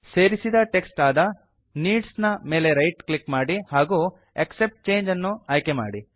ಸೇರಿಸಿದ ಟೆಕ್ಸ್ಟ್ ಆದ ನೀಡ್ಸ್ ನ ಮೇಲೆ ರೈಟ್ ಕ್ಲಿಕ್ ಮಾಡಿ ಹಾಗೂ ಆಕ್ಸೆಪ್ಟ್ ಚಂಗೆ ಅನ್ನು ಆಯ್ಕೆ ಮಾಡಿ